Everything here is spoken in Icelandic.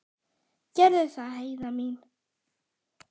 Gerðu það, Heiða mín.